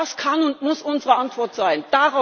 Das kann und muss unsere Antwort sein.